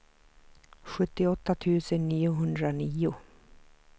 sjuttioåtta tusen niohundranio